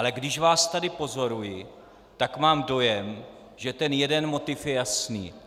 Ale když vás tady pozoruji, tak mám dojem, že ten jeden motiv je jasný.